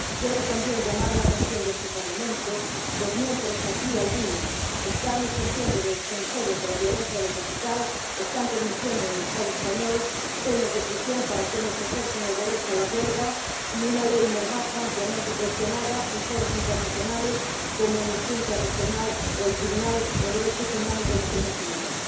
Quiero también llamar la atención de este Parlamento, sobre el hecho de que mientras algunos están ejerciendo aquí de defensores de la violencia del capital, están permitiendo en el Estado español penas de prisión para quienes ejercen el derecho a la huelga y una Ley Mordaza ampliamente cuestionada en foros internacionales como Amnistía Internacional o el Tribunal de Derechos Humanos de las Naciones Unidas.